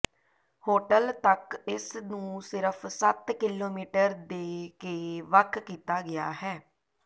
hotel ਤੱਕ ਇਸ ਨੂੰ ਸਿਰਫ ਸੱਤ ਕਿਲੋਮੀਟਰ ਦੇ ਕੇ ਵੱਖ ਕੀਤਾ ਗਿਆ ਹੈ